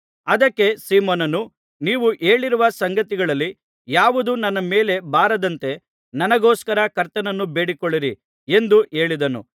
ಅದಕ್ಕೆ ಸೀಮೋನನು ನೀವು ಹೇಳಿರುವ ಸಂಗತಿಗಳಲ್ಲಿ ಯಾವುದೂ ನನ್ನ ಮೇಲೆ ಬಾರದಂತೆ ನನಗೋಸ್ಕರ ಕರ್ತನನ್ನು ಬೇಡಿಕೊಳ್ಳಿರಿ ಎಂದು ಹೇಳಿದನು